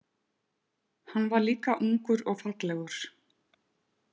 Hann var líka ungur og fallegur.